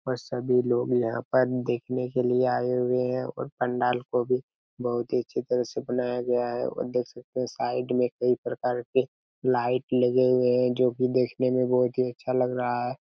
और सभी लोग यहाँ पर देखने के लिए आए हुए है और पंडाल को भी बहुत ही अच्छी तरह से बनाया गया है और देख सकते है साइड में कई प्रकार के लाइट लगे हुए है जो की देखने में बहुत ही अच्छा लग रहा है।